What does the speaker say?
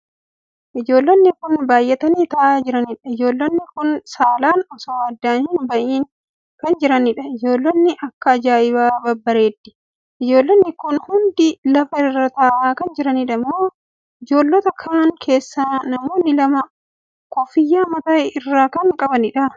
Ijoollonni kun baay'atanii taa'aa jiraniidha. ijoollonni kun saalaan osoo addaan hin ba'in kan jiraniidha. ijoollonni akka ajaa'ibaa babbareeddi! Ijoollonni kun hundi lafa irraa taa'aa kan jiraniidha moo? Ijoollota kan keessaa namoonni lama koffiyyaa mataa irraa kan qabaniidha!